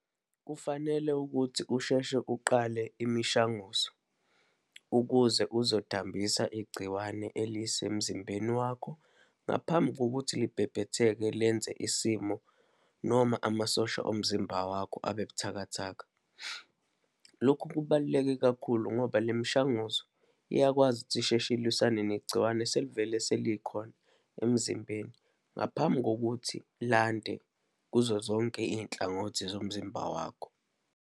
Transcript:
Kufanele ukuthi usheshe uqale imishanguzo, ukuze uzodambisa igciwane elisemzimbeni wakho, ngaphambi kokuthi libhebhetheke lenze isimo, noma amasosha omzimba wakho abebuthakathaka. Lokhu kubaluleke kakhulu, ngoba le mishanguzo iyakwazi ukuthi isheshe ilwisana negciwane eselivele selikhona emzimbeni, ngaphambi kokuthi landa kuzo zonke iy'nhlangothi zomzimba wakho.